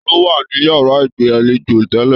Taló wa ni yara igbalejo tẹlẹ?